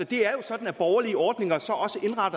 det er jo sådan at borgerlige ordninger